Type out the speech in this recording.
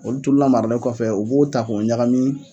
Olu tu lamaralen kɔfɛ u b'o ta k'o ɲagami